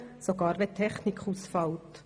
sogar dann, wenn die Technik ausfällt.